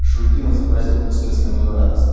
шульгин изобразил двусмысленную радость